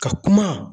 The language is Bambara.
Ka kuma